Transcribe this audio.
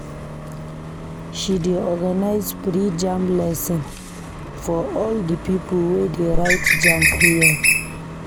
She dey organize free JAMB lesson for all di pipo wey dey write JAMB here.